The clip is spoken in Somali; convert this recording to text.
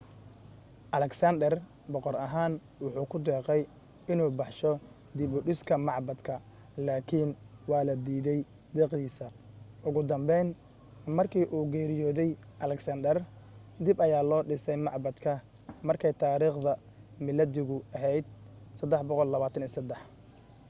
alexander boqor ahaan wuxuu ku deeqay inuu baxsho dib u dhiska macbadka laakiin waa la diidey deeqdiisa ugu dambeyn markii uu geriyoodey alexander dib ayaa loo dhisay macbadka markay taariikhda miilaadigu ahayd323